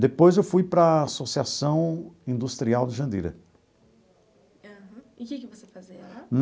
Depois eu fui para a Associação Industrial de Jandira. Aham, e o que que você fazia lá?